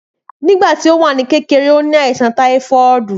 Nígbàtí ó wà ní kékeré, ó ni àìsàn táífọ́ọ̀dù